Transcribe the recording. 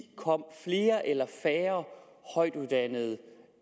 kom flere eller færre højtuddannede